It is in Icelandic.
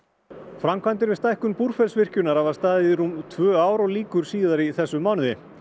framkvæmdir við stækkun Búrfellsvirkjunar hafa staðið í rúm tvö ár og lýkur síðar í þessum mánuði